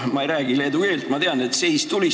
Ma ei räägi leedu keelt, aga ma tean, et see tähendab "Seis!